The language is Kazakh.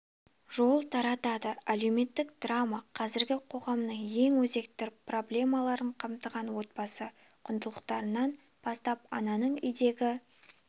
жол тартады әлеуметтік драма қазіргі қоғамның ең өзекті проблемаларын қамтыған отбасы құндылықтарынан бастап ананың үйдегі